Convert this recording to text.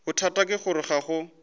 bothata ke gore ga go